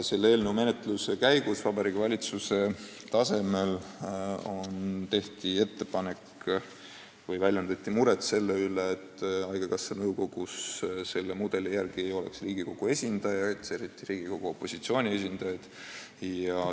Selle eelnõu menetluse ajal väljendati Vabariigi Valitsuse tasemel muret selle pärast, et selle mudeli alusel koostatud nõukogus ei oleks Riigikogu esindajaid, eriti peeti silmas Riigikogu opositsiooni esindajaid.